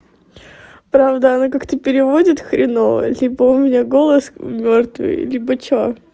правда она как-то переводит хреново либо у меня голос мёртвый либо что